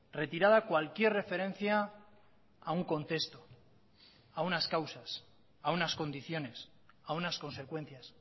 retirada cualquier referencia a un contexto a unas causas a unas condiciones a unas consecuencias